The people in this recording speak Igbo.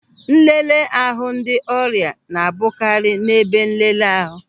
Nlele ahụ ndị ọrịa na-abụkarị n'ebe nleleahu.